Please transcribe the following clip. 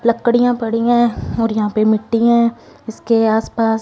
लकड़ियां पड़ी है और यहां पर मिट्टी है इसके आस पास--